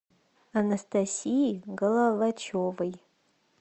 анастасии головачевой